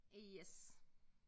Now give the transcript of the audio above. Yes!